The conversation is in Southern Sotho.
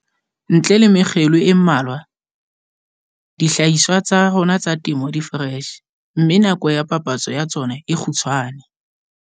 Ntle le mekgelo e mmalwa, dihlahiswa tsa rona tsa temo di foreshe, mme nako ya papatso ya tsona e kgutshwane.